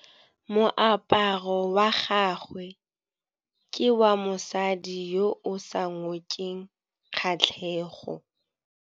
Moaparô wa gagwe ke wa mosadi yo o sa ngôkeng kgatlhegô.